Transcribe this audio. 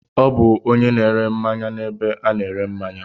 Ọ bụ onye na-ere mmanya n'ebe a na-ere mmanya.